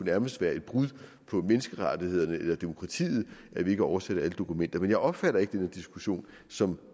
nærmest er et brud på menneskerettighederne eller demokratiet at vi ikke oversætter alle dokumenter men jeg opfatter ikke den her diskussion som